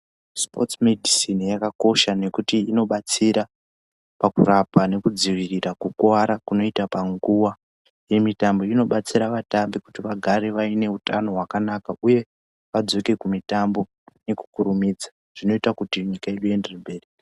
Sipotsi medhisini yakakosha ngekuti inobatsira pakurapa nekudzivirira kukuwara kunoita panguwa yemitambo inobatsira vatambi kuti vagare vaine utano hwakanaka uye vadzoke kumitambo nekukurumidza zvinoita kuti nyika yedu ienderere mberi.